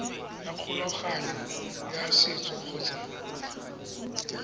ya kgolagano ya setso kgotsa